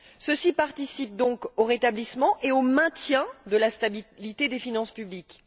Ceci participe donc au rétablissement et au maintien de la stabilité des finances publiques.